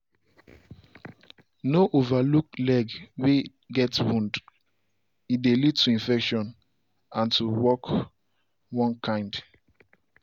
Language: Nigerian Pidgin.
no overlook leg way get wound - e dey lead to infection and to walk one kind.